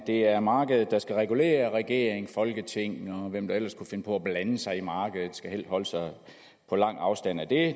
det er markedet der skal regulere regering folketing og hvem der ellers kunne finde på at blande sig i markedet de skal helst holde sig på lang afstand af det